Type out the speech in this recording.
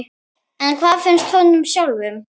En hvað finnst honum sjálfum?